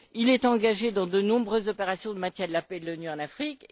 Il est engagé dans de nombreuses opérations de maintien de la paix et de l'ONU en Afrique.